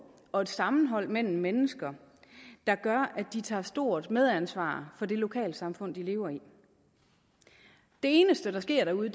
og et sammenhold mellem mennesker der gør at de tager stort medansvar for det lokalsamfund de lever i det eneste der sker derude